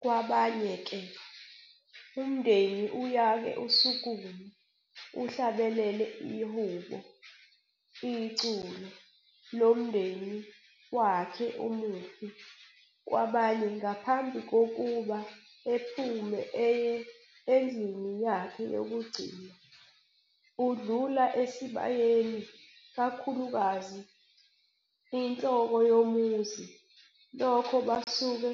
kwabanye ke umndenni uyake usukume uhlabelele ihubo, iculo, lomndeni wakhe umufi kwabanye ngaphambi kokuthi ephume eye endlini yakhe yokugcina udlula esibayeni kakhulukazi inhloko yomuzi lokho basuke